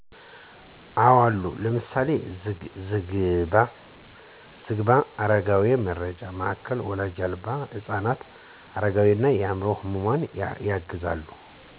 አወ አሉ። ለምሳሌ፦ ዝግባ የአረጋውያን መርጃ ማዕከል ወላጅ አልባ ህፃናትን፣ አረጋውያንን፣ አምዕሮ ህሙማንን ያግዛሉ።